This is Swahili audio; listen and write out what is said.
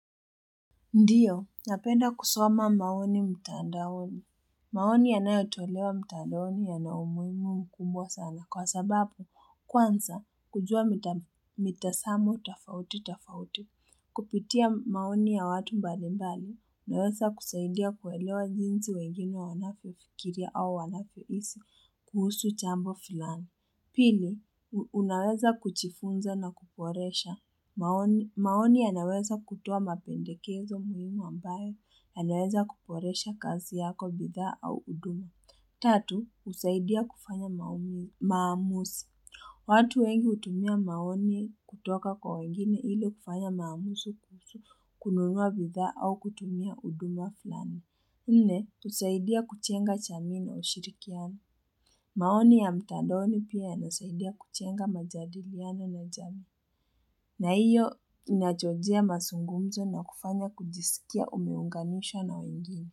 Ndiyo, napenda kusoma maoni mtandaoni. Maoni yanayotolewa mtandaoni yana umuhimu mkubwa sana kwa sababu kwanza kujua mitasamo tofauti tafauti. Kupitia maoni ya watu mbalimbali. Naweza kusaidia kuelewa jinsi wengine wanaofikiria au wanavyohisi kuhusu jambo fulani. Pili, unaweza kuchifunza na kuporesha. Maoni yanaweza kutoa mapendekezo muhimu ambayo yanaweza kuboresha kazi yako bidhaa au huduma. Tatu, husaidia kufanya maamuzi watu wengi hutumia maoni kutoka kwa wengine ili kufanya maamuzi kununua bidhaa au kutumia huduma fulani. Nne, husaidia kujenga jamii na ushirikiano maoni ya mtadaoni pia inasaidia kujenga majadiliano na jamii. Na hiyo inachochea mazungumzo na kufanya kujisikia umeunganishwa na wengine.